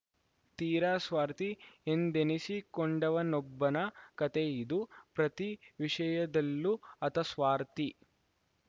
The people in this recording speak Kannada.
ತೀರಾ ಸ್ವಾರ್ಥಿ ಎಂದೆನಿಸಿಕೊಂಡವನೊಬ್ಬನ ಕಥೆಯಿದು ಪ್ರತಿ ವಿಷಯದಲ್ಲೂ ಆತ ಸ್ವಾರ್ಥಿ